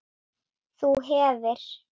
þú hefir